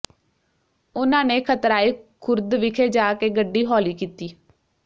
ਉਨ੍ਹਾਂ ਨੇ ਖਤਰਾਏ ਖੁਰਦ ਵਿਖੇ ਜਾ ਕੇ ਗੱਡੀ ਹੌਲੀ ਕੀਤੀ